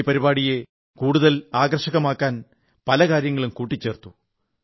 ഈ പരിപാടിയെ കൂടുതൽ ആകർഷകമാക്കാൻ പല കാര്യങ്ങളും കൂട്ടിച്ചേർത്തു